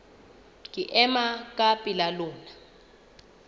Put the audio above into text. ke ema ka pela lona